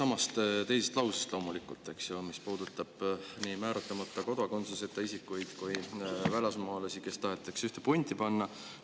Mul on küsimus loomulikult sellesama teise lause kohta, mis puudutab nii määratlemata kodakondsuseta isikuid kui välismaalasi, kes tahetakse ühte punti panna.